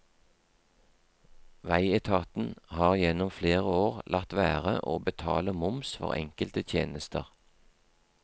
Veietaten har gjennom flere år latt være å betale moms for enkelte tjenester.